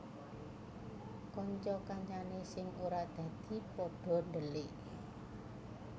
Kanca kancane sing ora dadi pada dhelik